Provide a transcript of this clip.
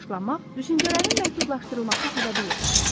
Yaşlanmaq düşüncələrin məhdudlaşdırılması səbəbiylə baş verir.